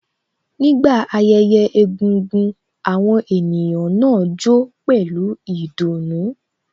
Nígbà ayẹyẹ egúngún, àwọn ènìyàn náà jó pẹlu ìdùnnú